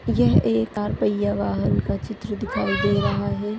यह एक कार पय्ये वाहन का चित्र दिखाई दे रहा है।